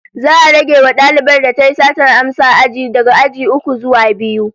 Za'a rage wa dalibar da tayi satar amsa aji daga aji uku zuwa biyu